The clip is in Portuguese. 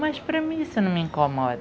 Mas para mim isso não me incomoda.